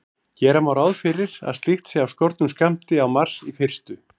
Gera má ráð fyrir að slíkt sé af skornum skammti á Mars í fyrstu.